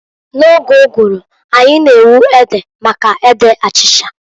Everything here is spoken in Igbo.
N'oge ụgụrụ anyị na-ewu ede for ede achicha.